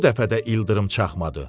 Bu dəfə də ildırım çaxmadı.